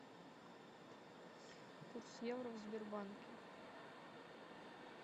курс евро в сбербанке